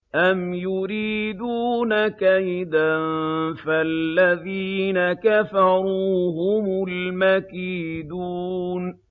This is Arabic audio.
أَمْ يُرِيدُونَ كَيْدًا ۖ فَالَّذِينَ كَفَرُوا هُمُ الْمَكِيدُونَ